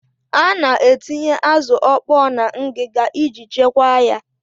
A na-etinye azụ ọkpọọ na ngịga iji chekwaa ya.